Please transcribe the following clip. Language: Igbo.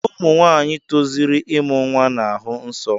Ụmụ nwaanyị tozuru ịmụ nwa na-ahụ nsọ.